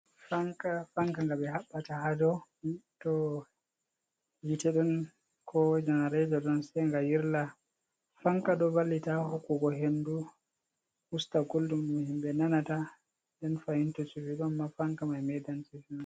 Fanka Fanka nga ɓe Habɓata hadou, to Hite ɗon ko Janarata ɗon Sai nga Yirla, Fanka ɗo Wallita Hokkugo Hendu Usta Guldum ɗum Himɓe Nanata nden Fahinta to Shufi Ɗonma Fanka mai Medan shufimai.